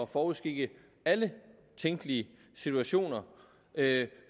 forudskikke alle tænkelige situationer